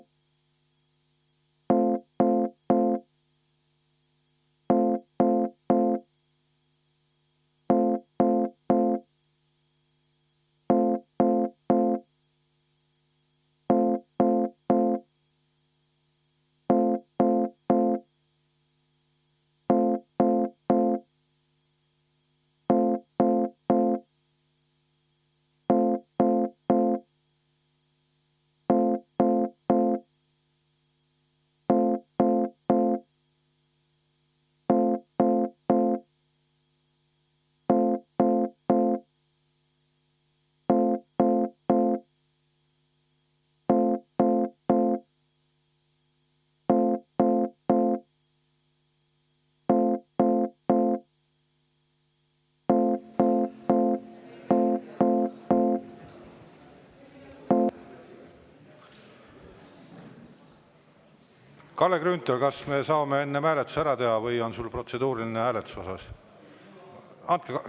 Kalle Grünthal, kas me saame hääletuse enne ära teha või on sul protseduuriline küsimus hääletuse kohta?